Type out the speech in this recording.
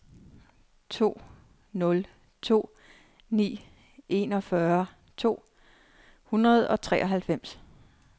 to nul to ni enogfyrre to hundrede og treoghalvfems